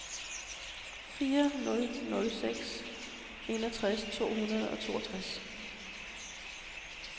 fire nul nul seks enogtres to hundrede og toogtres